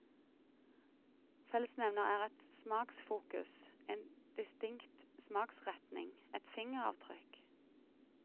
Fellesnevner er et smaksfokus, en distinkt smaksretning, et fingeravtrykk.